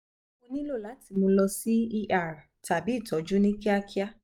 ṣe mo nilo lati mu lọ si er tabi itọju ni kiakia